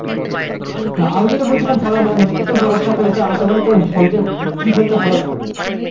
আমি যেটা বলছিলাম পড়াশোনা করেছে তোমাকে কি খেলতে ভালো লাগে হয়ে হ্যাঁ